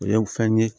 U ye fɛn ye